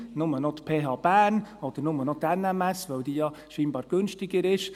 Nur noch die PH Bern oder nur noch die NMS, weil die ja scheinbar günstiger ist?